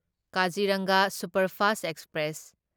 ꯀꯓꯤꯔꯥꯟꯒ superfast express